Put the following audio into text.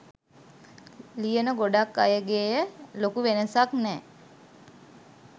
ලියන ගොඩක් අයගෙය ලොකු වෙනසක් නෑ